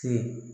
Ten